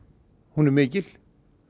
hún er mikil